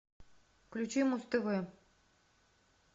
включи муз тв